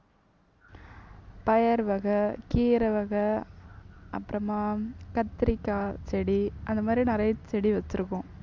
பயறு வகை, கீரை வகை அப்புறமா கத்தரிக்காய் செடி அந்த மாதிரி நிறைய செடி வச்சிருக்கோம்